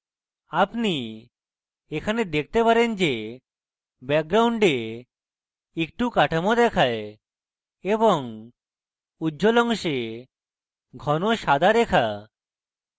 আপনি এখানে দেখতে পারেন যে background একটু কাঠামো দেখায় এবং উজ্জ্বল অংশে ঘন সাদা রেখা